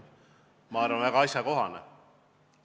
See on, ma arvan, väga asjakohane.